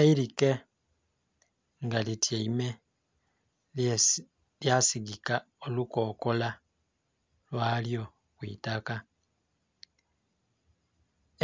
Eirike nga li tyaime lya sigika olukokola lwa lyo kwi taaka,